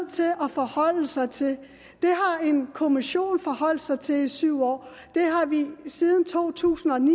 til at forholde sig til det har en kommission forholdt sig til i syv år det har vi siden to tusind og ni